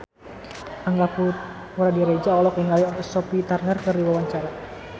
Angga Puradiredja olohok ningali Sophie Turner keur diwawancara